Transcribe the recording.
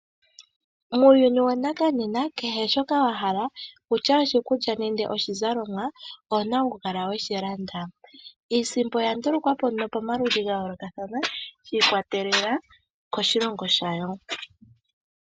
Muuyuni wanakanena kehe shoka wa hala, okutya oshikulya nenge oshizalomwa owuna oku kala weshi landa. Iisimpo oya ndulukwa po pamaludhi ga yoolokathana shi ikwatelela koshilongo shayo.